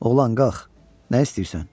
Oğlan qalx, nə istəyirsən?